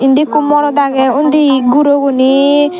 indi ekku morot agey undi guro guney.